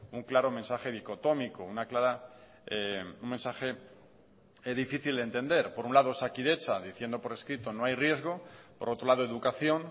un claro mensaje de dicotómico una clara un mensaje que es difícil de entender por un lado osakidetza diciendo por escrito no hay riesgo por otro lado educación